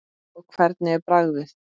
Og hvernig er bragðið?